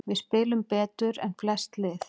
Við spilum betur en flest lið